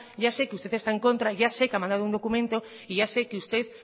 ya sé que usted está en contra ya sé que ha mandado un documento y ya sé que usted